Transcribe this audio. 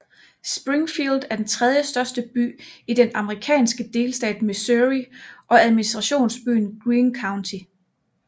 Springfield er den tredjestørste by i den amerikanske delstat Missouri og administrationsby Greene County